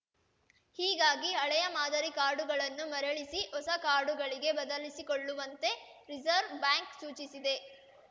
ಹೀಗಾಗಿ ಹಳೆಯ ಮಾದರಿ ಕಾರ್ಡುಗಳನ್ನು ಮರಳಿಸಿ ಹೊಸ ಕಾರ್ಡುಗಳಿಗೆ ಬದಲಿಸಿಕೊಳ್ಳುವಂತೆ ರೆಸರ್ವ್ ಬ್ಯಾಂಕ್‌ ಸೂಚಿಸಿದೆ